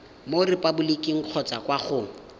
mo repaboliking kgotsa kwa go